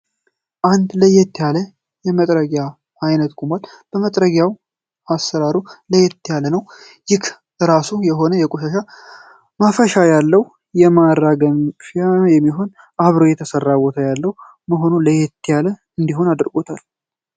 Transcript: አንድ ለየት ያለ የመጥረጊያ አይነት ቆሟል። መጥረጊያው አሰራሩ ለየት ያለው ነው። ይህም የራሱ የሆነ የቆሻሻ ማፈሻ ያለው እና ለማራገፊያነት የሚሆን አብሮ የተሰራ ቦታ ያለው መሆኑ ለየት ያለ እንዲሆን አድርጎታል።